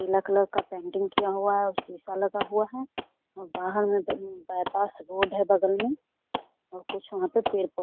पीला कलर का पेंटिंग किया हुआ है और सीसा लगा हुआ है और बाहर मे बाइपस रोड है बगल मे और कुछ वहाँ पे पेड़ पौधे है।